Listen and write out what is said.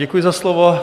Děkuji za slovo.